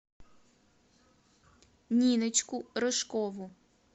ниночку рыжкову